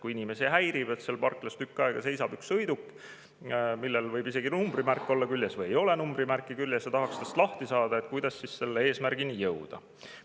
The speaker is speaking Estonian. Kui inimesi häirib, et seal parklas tükk aega seisab üks sõiduk, millel võib isegi numbrimärk küljes olla või ei ole numbrimärki küljes, ja tahaks sellest lahti saada, kuidas selle eesmärgini jõuda?